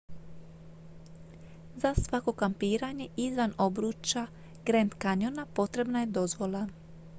za svako kampiranje izvan obruča grand canyona potrebna je dozvola